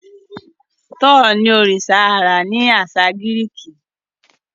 thor ní oriṣa ãrá ni aṣa Giriki.